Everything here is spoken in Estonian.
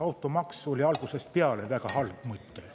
Automaks oli algusest peale väga halb mõte.